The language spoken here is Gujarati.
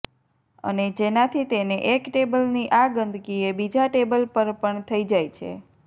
અને જેનાથી તેને એક ટેબલની આં ગંદકી એ બીજા ટેબલ પર પણ થઇ જાય છે